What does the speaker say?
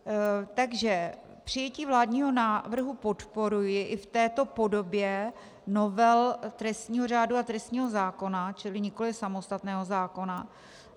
Takže přijetí vládního návrhu podporuji i v této podobě novel trestního řádu a trestního zákona, čili nikoli samostatného zákona.